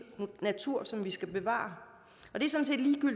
natur som vi skal bevare